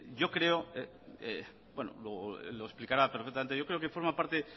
luego él lo explicará perfectamente pero yo creo que forma parte